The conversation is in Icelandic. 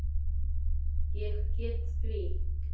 Ég get því